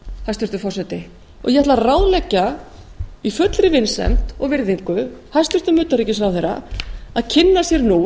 hæstvirtur forseti ég ætla að ráðleggja í fullri vinsemd og virðingu hæstvirts utanríkisráðherra að kynna sér nú